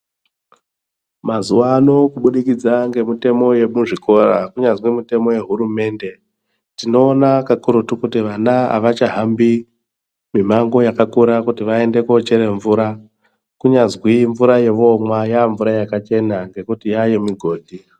Mazuwa ano kubudikidza ngemutemo wemuzvikora, kunyazwi wehurumende, tinoona kakurutu kuti wana wemazuwano awachahambi mimango yakakura kuti waende koochera mvura kunyazwi mvura yavanomwa yavamvura yakachena nekuti yava yemugodhi.